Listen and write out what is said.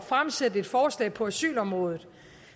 fremsætte et forslag på asylområdet